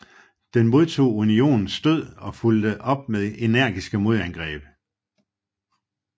Den modtog Unionens stød og fulgte op med energiske modangreb